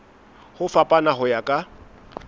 ho fapana ho ya ka